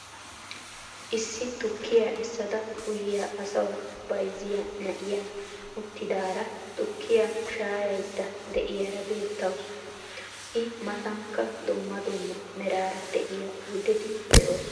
Issi tukkiyaa essada uyiyaa asawu bayzziyaa na'iyaa uttidaara tukkiyaa shaayayida de'iyaara beettawus. I maatankka dumma dumma meeraara de'iyaa oydeti de'oosona.